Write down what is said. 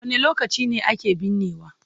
Wane lokaci ne ake binnewa?